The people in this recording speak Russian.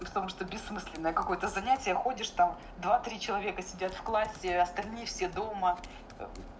в том что бессмысленное какое-то занятие ходишь там два три человека сидят в классе остальные все дома